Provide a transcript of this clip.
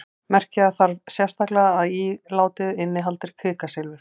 merkja þarf sérstaklega að ílátið innihaldi kvikasilfur